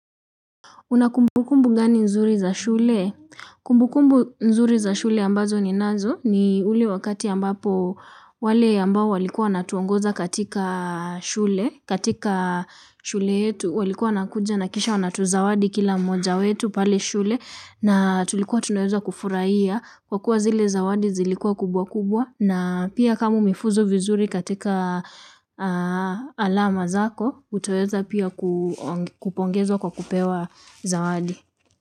Una kumbukumbu gani nzuri za shule? Kumbukumbu nzuri za shule ambazo ninazo ni ule wakati ambapo wale ambao walikuwa wanatuongoza katika shule. Katika shule yetu walikuwa wanakuja na kisha wanatuzawadi kila mmoja wetu pale shule na tulikuwa tunaweza kufurahia. Kwa kuwa zile zawadi zilikuwa kubwa kubwa na pia kama umrfuzu vizuri katika alama zako utaweza pia kupongezwa kwa kupewa zawadi.